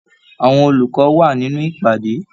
Àwọn olùkọ wà nínú ìpàdé.